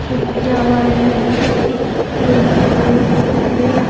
किया हुआ है बहुत अच्छी हम्म बहुत अच्छी तरिया --